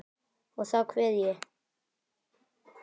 Og þá kveð ég.